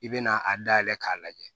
I bɛ na a dayɛlɛ k'a lajɛ